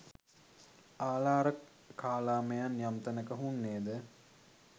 ආළාරකාලාමයන් යම් තැනක හුන්නේ ද